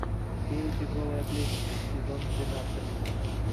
фея тяжелой атлетики сезон двенадцать